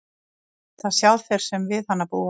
Það sjá þeir sem við hana búa.